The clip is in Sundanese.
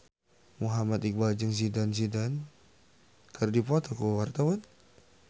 Muhammad Iqbal jeung Zidane Zidane keur dipoto ku wartawan